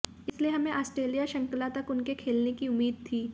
इसलिए हमें आस्ट्रेलिया शृंखला तक उनके खेलने की उम्मीद थी